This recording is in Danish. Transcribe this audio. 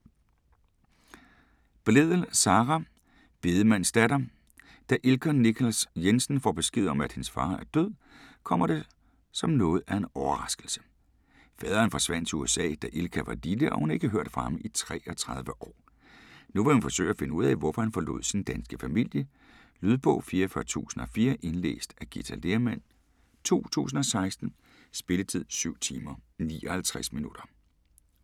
Blædel, Sara: Bedemandens datter Da Ilka Nichols Jensen får besked om, at hendes far er død, kommer det som noget af en overraskelse. Faderen forsvandt til USA, da Ilka var lille og hun har ikke hørt fra ham i 33 år. Nu vil hun forsøge at finde ud af, hvorfor han forlod sin danske familie. Lydbog 44004 Indlæst af Githa Lehrmann, 2016. Spilletid: 7 timer, 59 minutter.